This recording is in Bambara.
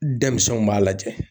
Denmisɛnw b'a lajɛ.